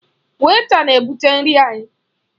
Wèịta na-ebụte nri anyị.